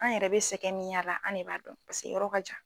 An yɛrɛ be sɛgɛn min y'a la an ne b'a dɔn pase yɔrɔ ka jan